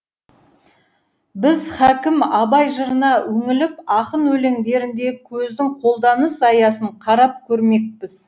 біз хәкім абай жырына үңіліп ақын өлеңдеріндегі көздің қолданыс аясын қарап көрмекпіз